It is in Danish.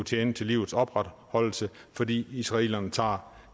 tjene til livets opretholdelse fordi israelerne tager